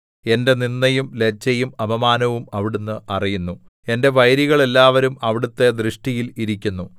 എന്റെ നിന്ദയും ലജ്ജയും അപമാനവും അവിടുന്ന് അറിയുന്നു എന്റെ വൈരികൾ എല്ലാവരും അവിടുത്തെ ദൃഷ്ടിയിൽ ഇരിക്കുന്നു